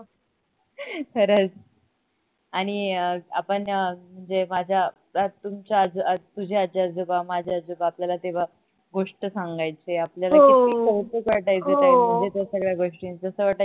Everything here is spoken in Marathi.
खरच आणि आपण अह जे माझ्या तुमच्या अह तुझे आज्जी आजोबा माझे आजोबा आपल्याला तेव्हा गोष्ट सांगायचे आपल्याला किती कौतुक वाटायचं तेव्हा म्हणजे त्या सगळ्या गोष्टींच